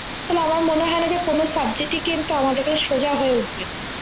তাহলে আমার মনে হয়না যে কোনো subject ই আমাদের কাছে সোজা হয়ে উঠবে না